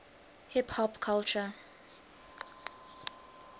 hip hop culture